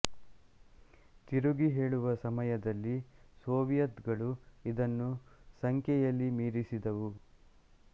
ತಿರುಗಿ ಹೇಳುವ ಸಮಯದಲ್ಲಿ ಸೋವಿಯತ್ ಗಳು ಇದನ್ನು ಸಂಖ್ಯೆಯಲ್ಲಿ ಮೀರಿಸಿದವು